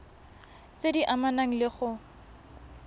tse di amanang le go